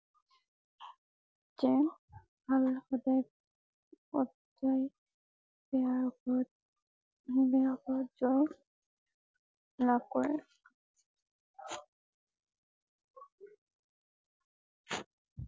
যেন বেয়া উপৰত বেয়া উপৰত জয় লাভ কৰে ।